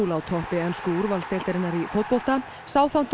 á toppi ensku úrvalsdeildarinnar í fótbolta